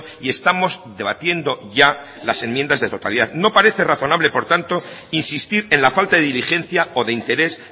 y estamos debatiendo ya las enmiendas de totalidad no parece razonable por tanto insistir en la falta de diligencia o de interés